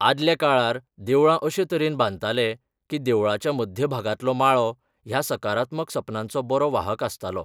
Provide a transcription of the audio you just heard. आदल्या काळार देवळां अशें तरेन बांदताले की देवळाच्या मध्य भागांतलो माळो ह्या सकारात्मक संपदनाचो बरो वाहक आसतालो.